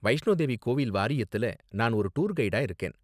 வைஷ்ணோ தேவி கோவில் வாரியத்துல நான் ஒரு டூர் கைடா இருக்கேன்.